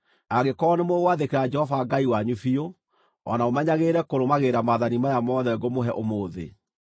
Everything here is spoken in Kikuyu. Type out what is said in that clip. angĩkorwo nĩmũgwathĩkĩra Jehova Ngai wanyu biũ, o na mũmenyagĩrĩre kũrũmagĩrĩra maathani maya mothe ngũmũhe ũmũthĩ.